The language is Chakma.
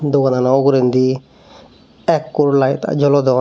doganano ugurendi ekkur laet jolodon.